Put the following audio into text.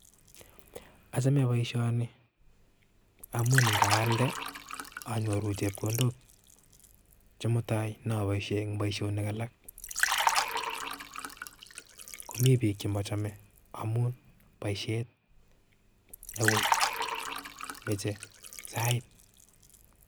Achame boisioni amu ngaalnde anyoru chepkondok chemutai nyaboisie eng' boisionik alak komi piik chemachome amu boisiet newui meche saait